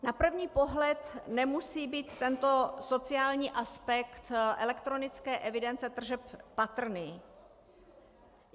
Na první pohled nemusí být tento sociální aspekt elektronické evidence tržeb patrný.